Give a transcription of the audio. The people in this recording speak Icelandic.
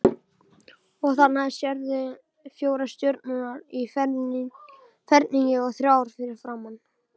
Og þarna sérðu fjórar stjörnur í ferningi og þrjár fyrir framan.